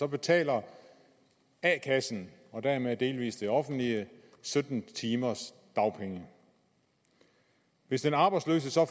betaler a kassen og dermed delvis det offentlige sytten timers dagpenge hvis den arbejdsløse så